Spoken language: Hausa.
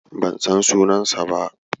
Ban san sunansa ba.